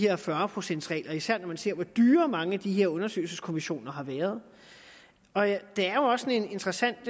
her fyrre procents regel især når man ser på hvor dyre mange af de her undersøgelseskommissioner har været der er jo også et interessant